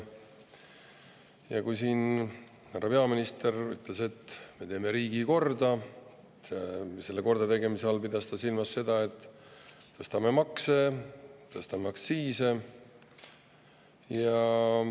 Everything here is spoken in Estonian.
Ja kui siin härra peaminister ütles, et me teeme riigi korda, siis selle kordategemise all pidas ta silmas seda, et tõstame makse, tõstame aktsiise.